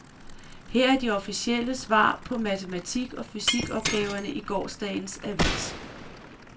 Her er de officielle svar på matematik og fysik opgaverne i gårsdagens avis.